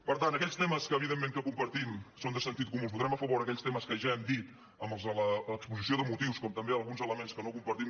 per tant aquells temes que evidentment que compartim són de sentit comú els votarem a favor aquells temes que ja hem dit els de l’exposició de motius com també alguns elements que no compartim